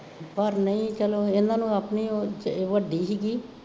ਪਰ ਨਹੀਂ ਚੱਲੋ, ਇਹਨਾ ਨੂੰ ਆਪਣੀ ਉਹ ਅਹ ਵੱਡੀ ਸੀਗੀ